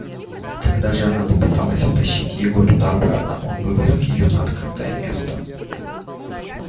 когда же она попыталась втащить его туда обратно он выволок её на открытое место